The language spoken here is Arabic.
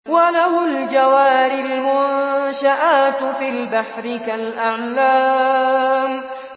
وَلَهُ الْجَوَارِ الْمُنشَآتُ فِي الْبَحْرِ كَالْأَعْلَامِ